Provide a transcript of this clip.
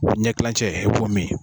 O ɲɛ kilancɛ i b'o mi